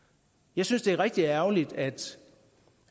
jeg synes det er rigtig ærgerligt at